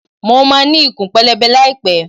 Mo máa ní ikùn pẹlẹbẹ láì pẹ́.